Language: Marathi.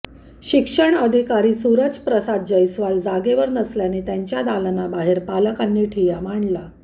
शिक्षणाधिकारी सूरजप्रसाद जयस्वाल जागेवर नसल्याने त्यांच्या दालनाबाहेर पालकांनी ठिय्या मांडला